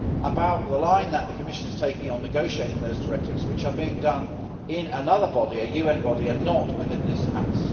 about the line the Commission is taking on negotiating those directives which are being done in another body, a UN body, and not within this House.